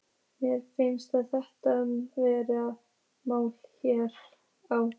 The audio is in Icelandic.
Mér finnst þetta vera málið hérna á